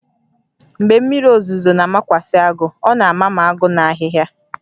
Mgbe mmiri ozuzo na-amakwasị agụ, ọ na-ama ma agụ na ahịhịa